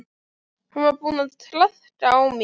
Hann var búinn að traðka á mér.